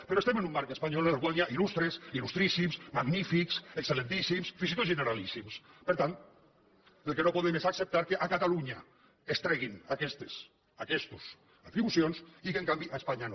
però estem en un marc espanyol en el qual hi ha il·lustres il·lustríssims magnífics excel·lentíssims fins i tot generalíssims per tant el que no podem és acceptar que a catalunya es treguin aquestes atribucions i que en canvi a espanya no